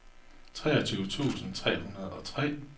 treogtyve tusind tre hundrede og tre